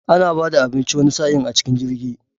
Ana bada abinci wani sa'in a cikin jirgi